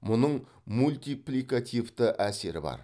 мұның мультипликативті әсері бар